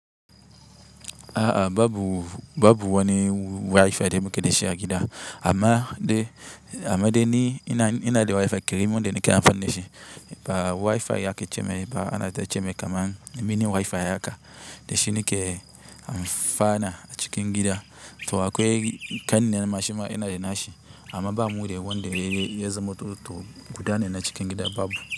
A'a babu, babu wani wifi da muke da shi a gida amma dai, amma dai ni ina, ina da wifi kerimi wanda nike amfani da shi, ba wifi yake cemai ba ana ta cemai kaman mini wifi haka, da shi nike amfana a cikin gida. To akwai kanni na shima yana da na shi amma bamu wanda ya ya zamanto to guda ne na cikin gida babu.